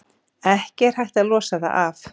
Ekki er hægt að losa það af.